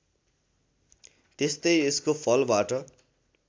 त्यस्तै यसको फलबाट